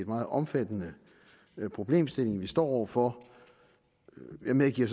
meget omfattende problemstilling vi står over for jeg medgiver